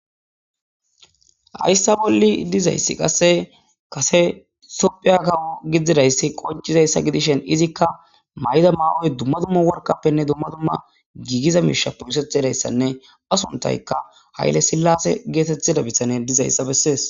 Haysa boli dizaysi kasetophiya kawo gididaysi qoncidaysa gidishin izika mayid mayoy Duma duma eqapene duma duma gigiza mishapenne gididaysa iza sunthayka qase hayle silase getetida bitaney dizaysa besses.